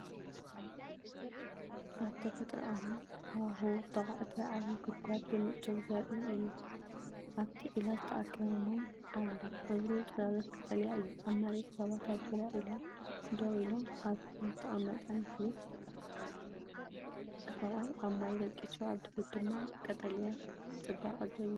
ኣብ ተፈጥሮኣዊ ሃዋህው ዝተዃዕተ ዓቢ ጉድጓድ ብንጹር ዘርኢ እዩ። ኣብቲ ዒላ ዝተኣከበ ማይ ኣሎ፣ ሕብሩ ጽላሎት ቀጠልያ እዩ። ኣብ መሬት ሰባት ኣብ ዙርያ ዒላ ደውኢሎም፡ኣብ ፍሬም ዝተቐመጠ ምስሊ ሰብኣይ ኣብ ማይ ደቂሱ፡ኣብ ድሕሪት ድማ ቀጠልያ ጽባቐ ዝህብ እዩ።